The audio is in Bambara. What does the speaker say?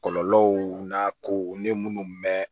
Kɔlɔlɔw n'a kow ni munnu mɛ